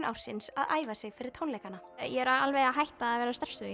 ársins að æfa sig fyrir tónleikana ég er alveg hætt að vera stressuð